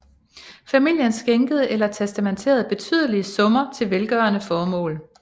Familien skænkede eller testamenterede betydelige summer til velgørende formål